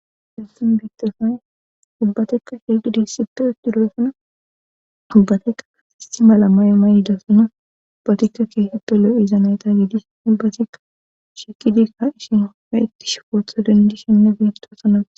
Hessan biittosay ubbatekka sheqidi ssippe uttudosona ubbatekka asist malamay mayyidasona ubbatikka keeseppe lo7iza nayta yiidis ubbatikka shiqidikka ishino ha ittish footho dendishenne geeftosana.